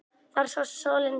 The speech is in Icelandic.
Þar sást sólin fyrr.